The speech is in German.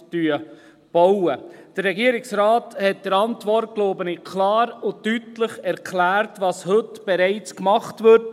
Der Regierungsrat hat in seiner Antwort, glaube ich, klar und deutlich erklärt, was heute bereits gemacht wird.